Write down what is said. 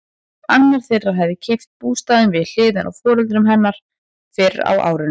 Annar þeirra hafði keypt bústaðinn við hliðina á foreldrum hennar fyrr á árinu.